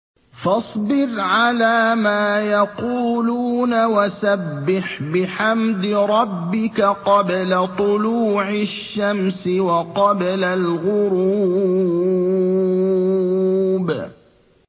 فَاصْبِرْ عَلَىٰ مَا يَقُولُونَ وَسَبِّحْ بِحَمْدِ رَبِّكَ قَبْلَ طُلُوعِ الشَّمْسِ وَقَبْلَ الْغُرُوبِ